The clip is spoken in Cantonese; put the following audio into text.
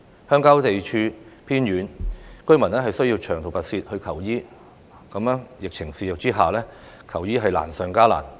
鄉郊地處偏遠，居民需要長途跋涉求醫，在疫情肆虐之下，求醫是難上加難。